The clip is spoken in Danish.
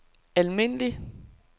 almindelig